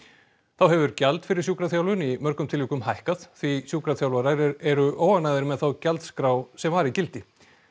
þá hefur gjald fyrir sjúkraþjálfun í mörgum tilvikum hækkað því sjúkraþjálfarar eru óánægðir með þá gjaldskrá sem var í gildi